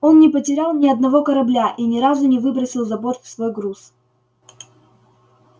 он не потерял ни одного корабля и ни разу не выбросил за борт свой груз